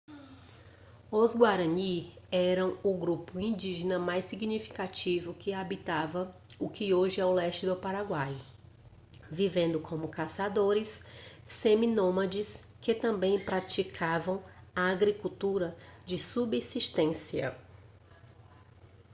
os guarani eram o grupo indígena mais significativo que habitava o que hoje é o leste do paraguai vivendo como caçadores seminômades que também praticavam a agricultura de subsistência